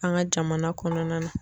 An ga jamana kɔnɔna na